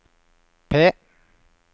P